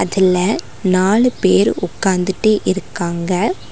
இதுல நாலு பேர் உக்காந்துட்டு இருக்காங்க.